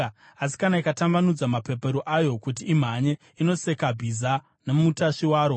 Asi kana ikatambanudza mapapiro ayo kuti imhanye, inoseka bhiza nomutasvi waro.